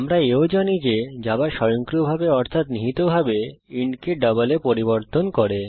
আমরা এও জানি যে জাভা স্বয়ংক্রিয়ভাবে অর্থাৎ নিহিতভাবে ইন্ট কে ডাবল এ পরিবর্তন করে